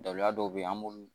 Daliya dɔw be yen an b'olu